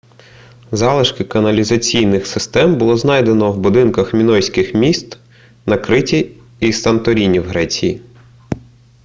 залишки каналізаційних систем було знайдено в будинках мінойських міст на криті й санторіні в греції